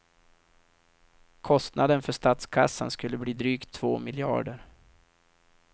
Kostnaden för statskassan skulle bli drygt två miljarder.